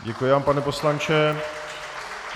Děkuji vám, pane poslanče.